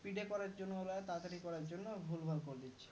PDF করার জন্যে ওরা তারতারি করার জন্যে ভুল ভাল করে দিচ্ছে